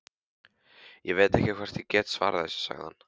Ég veit ekki hvort ég get svarað þessu, sagði hann.